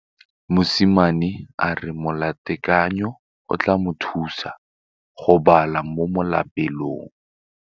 Mosimane a re molatekanyô o tla mo thusa go bala mo molapalong.